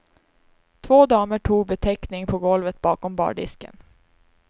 Två damer tog betäckning på golvet bakom bardisken.